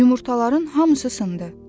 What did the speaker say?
Yumurtaların hamısı sındı.